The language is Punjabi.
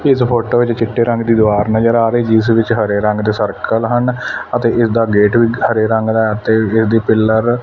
ਇਸ ਫੋਟੋ ਵਿੱਚ ਚਿੱਟੇ ਰੰਗ ਦੀ ਦੀਵਾਰ ਨਜ਼ਰ ਆ ਰਹੀ ਜਿਸ ਵਿੱਚ ਹਰੇ ਰੰਗ ਦੇ ਸਰਕਲ ਹਨ ਅਤੇ ਇਸਦਾ ਗੇਟ ਵੀ ਹਰੇ ਰੰਗ ਦਾ ਤੇ ਇਹਦੇ ਪਿੱਲਰ --